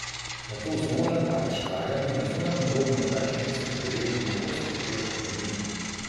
Nato z nožem ali škarjami na zunanjem robu na več mestih prerežemo gost preplet korenin.